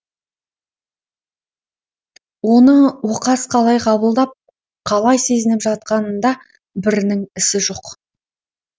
оны оқас қалай қабылдап қалай сезініп жатқанында бірінің ісі жоқ